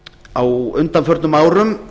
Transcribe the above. á undanförnum árum